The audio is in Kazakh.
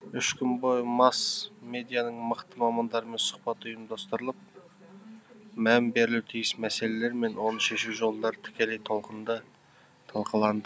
үш күн бойы масс медианың мықты мамандарымен сұхбат ұйымдастырылып мән берілуі тиіс мәселелер мен оны шешу жолдары тікелей толқында талқыланды